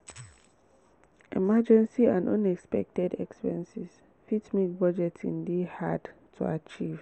emergency and unexpected expenses fit make budgeting dey hard to achieve